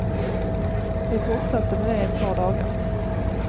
Vi fortsatte med det ett par dagar.